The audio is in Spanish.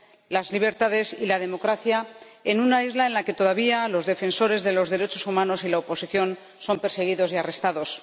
las libertades y la democracia en una isla en la que todavía los defensores de los derechos humanos y la oposición son perseguidos y arrestados.